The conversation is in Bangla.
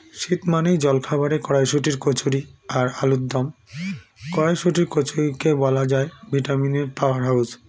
শীত মানেই জলখাবারে কড়াইশুটির কচুরি আর আলুর দম কড়াইশুটির কচুরিকে বলা যায় vitamin -এর power house